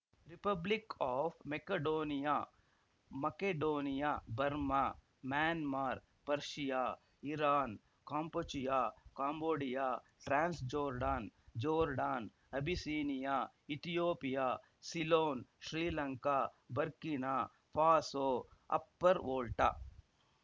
republic of ಮಕೆಡೋನಿಯಾ ಮಕೆಡೋನಿಯಾ Burma Myanmar ಪರ್ಶಿಯಾಇರಾನ್‌ ಕಾಂಪುಚೆಯಾಕಾಂಬೋಡಿಯಾ ಟ್ರಾನ್ಸ್‌ಜೋರ್ಡಾನ್‌ಜೋರ್ಡಾನ್‌ ಅಬಿಸೀನಿಯಾಇಥಿಯೋಪಿಯಾ ಸಿಲೋನ್‌ಶ್ರೀಲಂಕಾ Burkina ಫಾಸೋಅಪ್ಪರ್‌ Volta